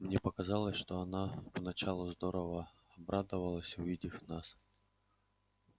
мне показалось что она поначалу здорово обрадовалась увидев нас